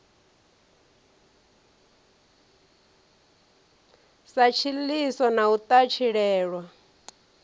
sa tshiḽiso na u ṱatshilelwa